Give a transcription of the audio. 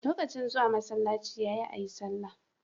Lokacin zuwa masalaci yayi ayi sallah